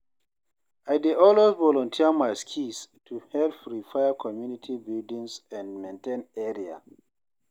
I dey always volunteer my skills to help repair community buildings and maintain area.